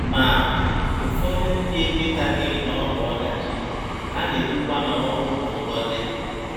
Ma, ụfọdụ ndị ekwetaghị na ọ bụ ọdachi, ha na - ekwukwa na ọnwụ bụ ngọzi.